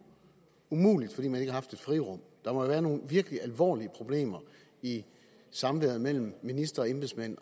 umuligt fordi man ikke har haft et frirum der må da være nogle virkelig alvorlige problemer i samværet mellem minister og embedsmænd